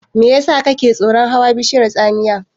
Me yasa kake tsoron hawa bishiyar tsamiya?